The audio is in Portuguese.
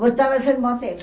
Gostava de ser modelo?